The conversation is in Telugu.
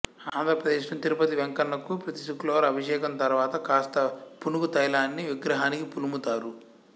ఆంధ్ర ప్రదేశ్లోని తిరుపతి వెంకన్నకు ప్రతి శుక్రవారం అభిషేకం తరువాత కాస్తంత పునుగు తైలాన్ని విగ్రహానికి పులుముతారు